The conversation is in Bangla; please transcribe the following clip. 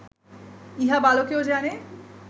ইহা বালকেও জানে